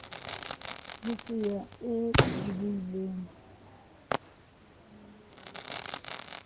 ho se ya e bohileng